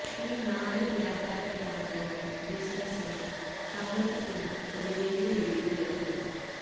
ഈ നാലു വ്യാപാര പ്രവണതകൾ ബിസിനസ്സിനും സമൂഹത്തിനും ഒരു വെല്ലുവിളി ഉയർത്തും